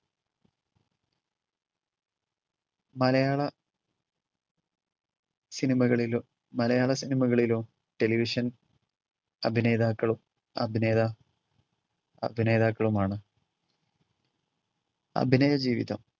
മലയാള സിനിമകളിലോ മലയാള സിനിമകളിലോ ടെലിവിഷൻ അഭിനേതാക്കളും അഭിനേതാ~ അഭിനേതാക്കളുമാണ്. അഭിനയജീവിതം